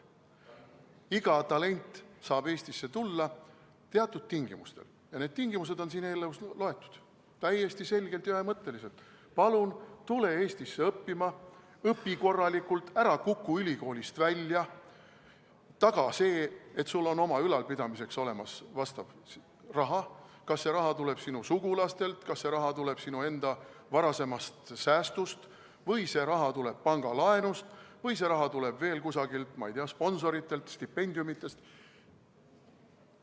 Iga talent saab Eestisse tulla teatud tingimustel ja need tingimused on siin eelnõus loetletud täiesti selgelt ja ühemõtteliselt: palun tule Eestisse õppima, õpi korralikult, ära kuku ülikoolist välja, taga see, et sul on enda ülalpidamiseks olemas raha, ükskõik, kas see raha tuleb sinu sugulastelt, kas see raha tuleb sinu enda säästudest või see raha tuleb pangalaenust või see raha tuleb veel kusagilt, ma ei tea, sponsoritelt, stipendiumidest.